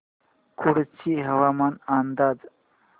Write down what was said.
कुडची हवामान अंदाज